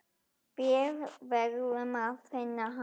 Við verðum að finna hann.